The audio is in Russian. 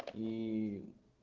ии